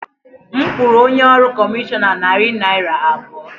M kwụrụ onye ọrụ kọmishọna narị naira abụọ.